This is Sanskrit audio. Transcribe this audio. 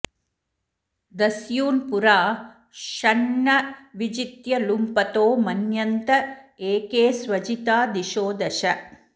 दस्यून्पुरा षण्न विजित्य लुम्पतो मन्यन्त एके स्वजिता दिशो दश